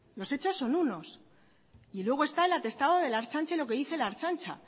los hechos son unos y luego está el atestado de la ertzaintza y lo que dice la ertzaintza